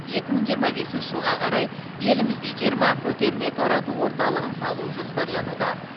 екі мың жиырма бесінші жылға қарай елімізде жиырма көтерме тарату орталығын салу жоспарлануда